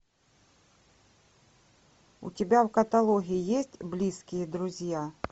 у тебя в каталоге есть близкие друзья